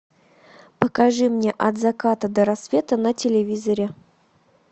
покажи мне от заката до рассвета на телевизоре